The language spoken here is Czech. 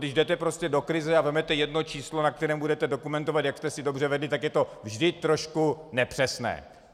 Když jdete prostě do krize a vezmete jedno číslo, na kterém budete dokumentovat, jak jste si dobře vedli, tak je to vždy trošku nepřesné.